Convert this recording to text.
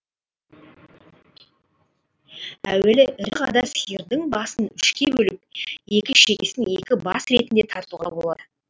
әуелі ірі қарада сиырдың басын үшке бөліп екі шекесін екі бас ретінде тартуға болады